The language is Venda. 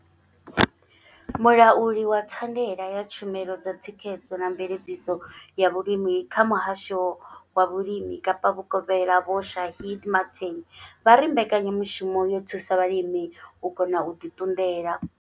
Mulauli wa thandela ya tshumelo dza thikhedzo na mveledziso ya vhulimi kha muhasho wa vhulimi Kapa vhukovhela Vho Shaheed Martin vha ri mbekanyamushumo yo thusa vhalimi u kona u ḓi ṱunḓela.